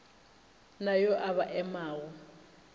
na yo a ba emago